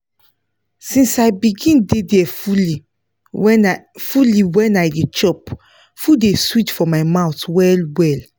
since i begin dey there fully when i fully when i dey chop food dey sweet for my mouth well well